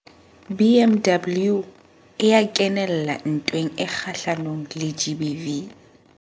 BMW e ya kenella ntweng kgahlanong le GBV.